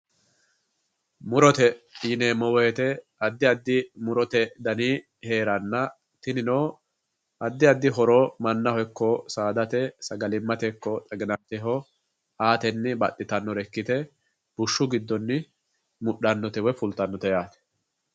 Murote yineemmo woyte addi addi murote dani heeranna tinino addi addi horo mannaho ikko saadate sagalimate ikko xaginateho aateni baxxittanore ikkite bushshu giddoni fultanote woyi mudhanote yaate.